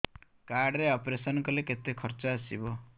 card ରେ operation କଲେ କେତେ ଖର୍ଚ ଆସିବ